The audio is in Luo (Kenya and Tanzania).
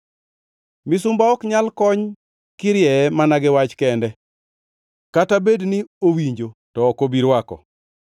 Misumba ok nyal kony kirieye mana gi wach kende; kata bed ni owinjo, to ok obi rwako.